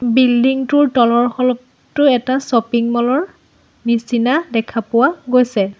Building টোৰ তলৰ খলপটো এটা শ্বপিং মল ৰ নিচিনা দেখা পোৱা গৈছে।